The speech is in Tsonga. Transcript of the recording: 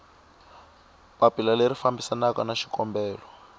papila leri fambisanaku na xikombelo